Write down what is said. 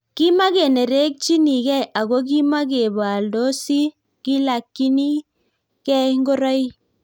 Kimakenerekchini gei Ako kimakepaaldosi kilakyini gei ngoroik